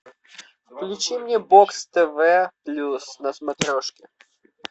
включи мне бокс тв плюс на смотрешке